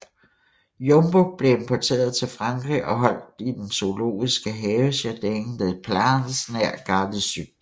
Jumbo blev importeret til Frankrig og holdt i den zoologisk have Jardin des Plantes nær Gare de Sud